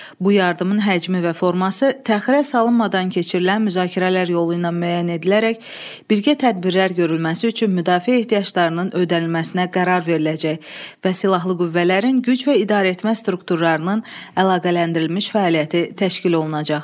Bu yardımın həcmi və forması təxirə salınmadan keçirilən müzakirələr yolu ilə müəyyən edilərək birgə tədbirlər görülməsi üçün müdafiə ehtiyaclarının ödənilməsinə qərar veriləcək və silahlı qüvvələrin güc və idarəetmə strukturlarının əlaqələndirilmiş fəaliyyəti təşkil olunacaq.